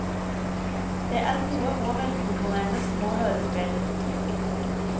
Det er gode og velkomponerte små hørespill.